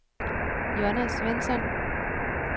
Jonna Svensson